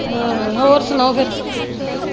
ਹਮ ਹੋਰ ਸੁਣਾਓ ਫਿਰ?